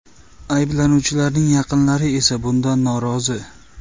Ayblanuvchilarning yaqinlari esa bundan norozi.